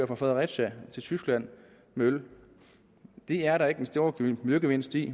fra fredericia til tyskland med øl det er der ikke den store miljøgevinst i